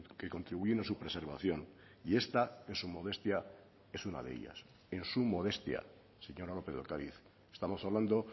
que contribuyen a su preservación y esta en su modestia es una de ellas en su modestia señora lópez de ocariz estamos hablando